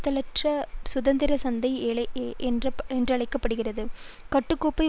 பிதற்றல்கள் சுதந்திர சந்தை என்றழைக்க படும் கட்டுகோப்பை